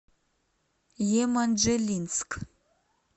еманжелинск